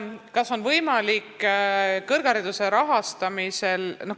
Kas on võimalik kõrghariduse rahastamisel koolitada vaid endale?